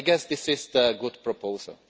I guess this is a good proposal.